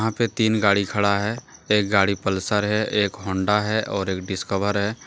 पे तीन गाड़ी खड़ा है। एक गाड़ी पलसर है एक हौंडा है और एक डिस्कवर है।